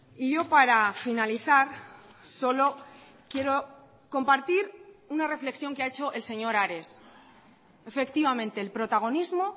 y yo para finalizar solo quiero compartir una reflexión que ha hecho el señor ares efectivamente el protagonismo